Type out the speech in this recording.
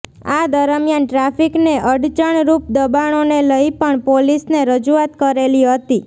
આ દરમિયાન ટ્રાફીકને અડચણરૃપ દબાણોને લઈ પણ પોલીસને રજૂઆત કરેલી હતી